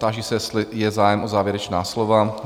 Táži se, jestli je zájem o závěrečná slova?